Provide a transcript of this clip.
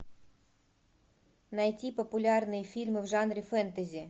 найти популярные фильмы в жанре фэнтези